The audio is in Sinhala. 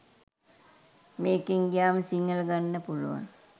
මේකෙන් ගියාම සිංහල ගන්න පුළුවන්